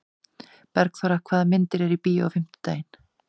Bergþóra, hvaða myndir eru í bíó á fimmtudaginn?